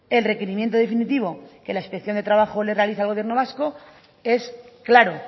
el requerimiento definitivo que la inspección de trabajo le realiza el gobierno vasco es claro